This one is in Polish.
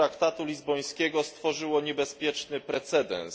traktatu lizbońskiego stworzyło niebezpieczny precedens.